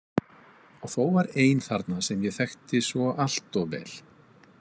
Og þó var ein þarna sem ég þekkti svo allt of vel.